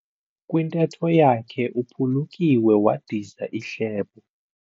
Kwintetho yakhe uphulukiwe wadiza ihlebo.